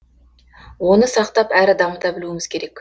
оны сақтап әрі дамыта білуіміз керек